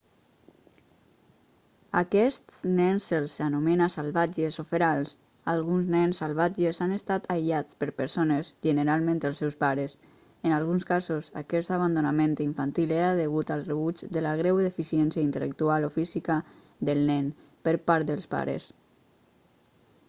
a aquests nens se'ls anomena salvatges o ferals. alguns nens salvatges han estat aïllats per persones generalment els seus pares; en alguns casos aquest abandonament infantil era degut al rebuig de la greu deficiència intel·lectual o física del nen per part dels pares